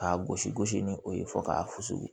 K'a gosi gosi ni o ye fɔ k'a fusu